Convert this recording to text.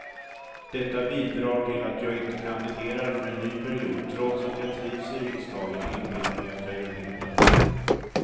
Detta bidrar till att jag inte kandiderar för en ny period trots att jag trivs i riksdagen och inbillar mig att jag gör nytta.